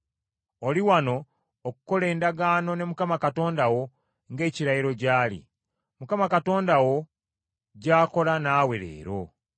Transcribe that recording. Oli wano okukola endagaano ne Mukama Katonda wo, ng’ekirayiro gy’ali, Mukama Katonda wo gy’akola naawe leero;